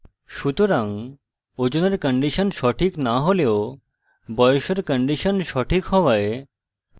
সুতরাং ওজনের condition সঠিক so হলেও বয়সের condition সঠিক হওয়ায়